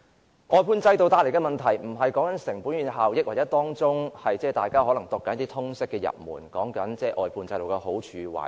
關於外判制度帶來的問題，我無意討論成本與效益，或大家可能正在看的通識入門，即關於外判制度的好處和壞處。